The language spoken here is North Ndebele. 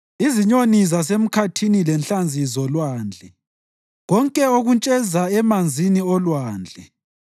izinyoni zasemkhathini lenhlanzi zolwandle, konke okuntsheza emanzini olwandle.